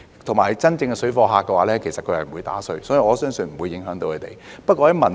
再者，真正的水貨客是不會"打稅"的，所以我相信不會影響他們。